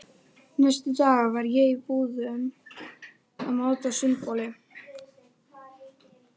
Næstu daga var ég í búðum að máta sundboli.